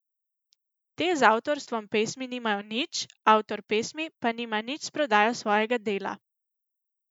Te z avtorstvom pesmi nimajo nič, avtor pesmi pa nima nič s prodajo svojega dela.